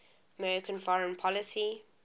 american foreign policy